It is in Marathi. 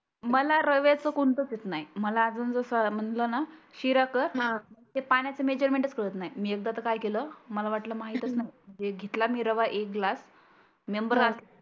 मला रव्याचं कोणतचं येत नाही. मला आजुन जसं म्हटलं ना शिरा कर ते पाण्याचं मेजरमेंट चं कळत नाही. एकदा तर काय केलं मला वाटलं माहितच नाही. घेतला मी रवा एक ग्लास मेंबर आठ